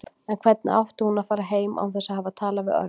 En hvernig átti hún að fara heim án þess að hafa talað við Örn?